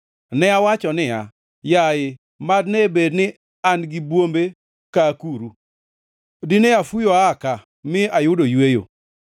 Ne awacho niya, “Yaye mad ne bed ni an gi bwombe ka akuru! Dine afuyo aa ka mi ayudo yweyo.